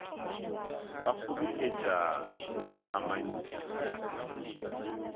ba kgoboketpa le go amantpha